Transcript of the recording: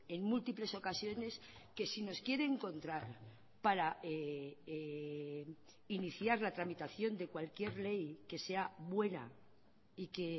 en múltiples ocasiones que si nos quiere encontrar para iniciar la tramitación de cualquier ley que sea buena y que